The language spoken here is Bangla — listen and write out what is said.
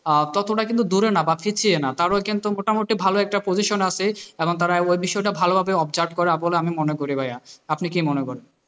ততটা কিন্তু দূরে না বা পিছিয়ে না তারাও কিন্তু মোটামটি ভালো একটা position আসে এবং তারা ওই বিষয়টাকে ভালোভাবে observe করে বলে আমি মনে করি ভাইয়া, আপনি কি মনে করেন?